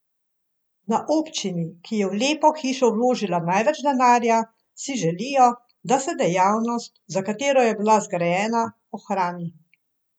Na občini, ki je v lepo hišo vložila največ denarja, si želijo, da se dejavnost, za katero je bila zgrajena, ohrani.